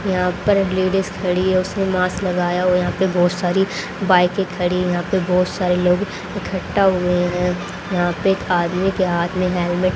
यहां पर लेडिस खड़ी है उसने मास्क लगाया हुआ यहां पे बहोत सारी बाइके खड़ी यहां पे बहोत सारे लोग इकट्ठा हुए हैं यहां पे एक आदमी के हाथ में हेलमे--